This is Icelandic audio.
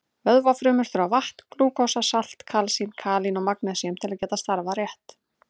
Vöðvafrumur þurfa vatn, glúkósa, salt, kalsín, kalín og magnesín til að geta starfað rétt.